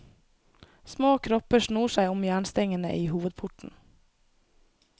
Små kropper snor seg om jernstengene i hovedporten.